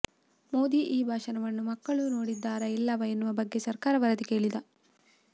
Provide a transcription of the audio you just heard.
ಮೋದಿ ಈ ಭಾಷಣವನ್ನು ಮಕ್ಕಳು ನೋಡಿದ್ದಾರಾ ಇಲ್ಲವಾ ಎನ್ನುವ ಬಗ್ಗೆ ಸರ್ಕಾರ ವರದಿ ಕೇಳಿದೆ